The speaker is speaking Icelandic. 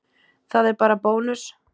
Það er bara bónus.